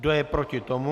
Kdo je proti tomu?